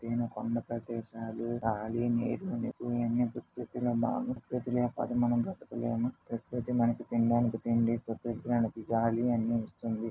ఎత్తైన కొండ ప్రదేశాలు. గాలి నీరు నిప్పు ఇవన్నీ పీల్చుకునే గాలి చెట్లు లేకపోతే బతకాలేము. ప్రకృతి మనకి తినడానికి తిండి పీల్చడానికి గాలి అన్ని ఇస్తుంది.